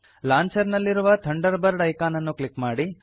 launcher ನಲ್ಲಿರುವ Thunderbird icon ಅನ್ನು click ಮಾಡಿ